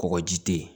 Kɔkɔji tɛ yen